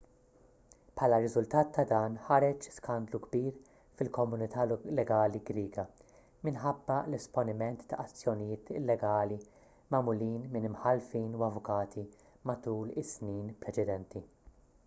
bħala riżultat ta' dan ħareġ skandlu kbir fil-komunità legali griega minħabba l-esponiment ta' azzjonijiet illegali magħmulin minn imħallfin u avukati matul is-snin preċedenti